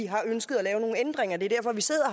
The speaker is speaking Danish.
har ønsket at lave nogle ændringer det er derfor vi sidder